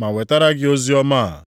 ma wetara gị oziọma a.